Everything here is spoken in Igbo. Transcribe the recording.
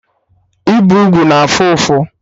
Ịbe ugwu na afụ ụfụ